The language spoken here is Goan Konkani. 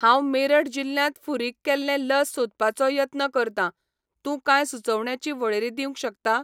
हांव मेरठ जिल्ल्यांत फुारीक केल्लें लस सोदपाचो यत्न करतां, तूं कांय सुचोवण्यांची वळेरी दिवंक शकता?